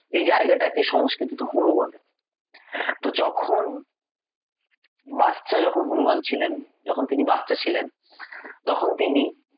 এই জায়গাটাকে সংস্কৃতিতে হনু বলে তো যখন বাচ্চা যখন হনূমান ছিলেন যখন তিনি বাচ্চা ছিলেন তখন তিনি